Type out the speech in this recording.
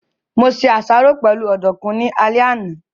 Mo se àsáró pẹ̀lú ọ̀dùkún ní alẹ́ àná